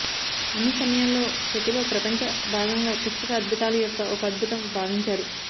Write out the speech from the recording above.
అన్ని సమయాల్లో ప్రతి లో ప్రపంచ భాగంగా పుస్తక అద్భుతాలు యొక్క ఒక అద్భుతం భావించారు